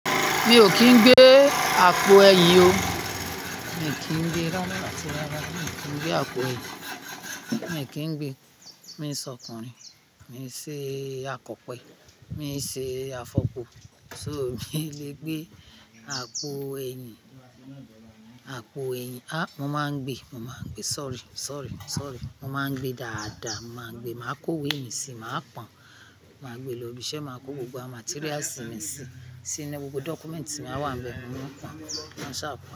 Mi ò kín gbé àpò ẹyin o. Mi kìí gbe, rá áti rárá, mi kìí gbé àpò ẹyin. Mi kìí gbé, mi ń sọ ọkùnrin, mi ń ṣe àkọ̀pẹ, mi ń ṣe àfọpọ̀, so mi le gbé àpò ẹyin, àpò ẹyin. A! Mo máa ń gbé, mo máa ń gbé. Sorry, sorry, sorry. Mo máa ń gbé dáadáa, mo máa ń gbé. Màá kó wéèni sí i, màá pọn, màá gbé lọ ibi iṣẹ́, màá kó gbogbo materials mi sí i, sì inú gbogbo documents tí màá wà níbẹ̀, mò ń pọn. Maṣa àpọ́n.